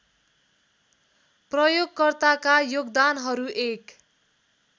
प्रयोगकर्ताका योगदानहरू एक